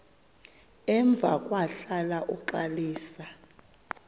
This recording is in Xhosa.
emva kwahlala uxalisa